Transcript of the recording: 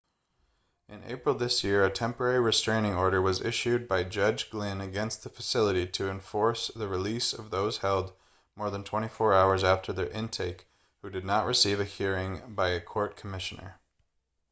in april this year a temporary restaining order was issued by judge glynn against the facility to enforce the release of those held more than 24 hours after their intake who did not receive a hearing by a court commissioner